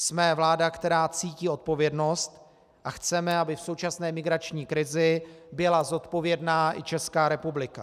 Jsme vláda, která cítí odpovědnost, a chceme, aby v současné migrační krizi byla zodpovědná i Česká republika.